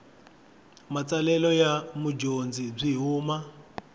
matsalelo ya mudyondzi byi huma